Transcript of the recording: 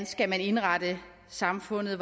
skal indrette samfundet